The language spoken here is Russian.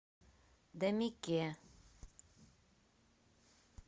дамике